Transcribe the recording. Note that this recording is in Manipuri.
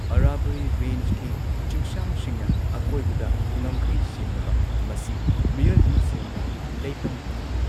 ꯑꯔꯥꯕꯜꯂꯤ ꯔꯦꯟꯖꯀꯤ ꯆꯤꯡꯁꯥꯡꯁꯤꯡꯅ ꯑꯀꯣꯏꯕꯗ ꯉꯝꯈꯩ ꯁꯦꯝꯂꯕ, ꯃꯁꯤ ꯃꯤꯑꯣꯏꯕꯅ ꯁꯦꯝꯕ ꯂꯩꯄꯟ ꯑꯃꯅꯤ꯫